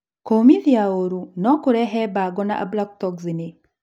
kũmithia ũru nũkũrehe bango na ablotoxni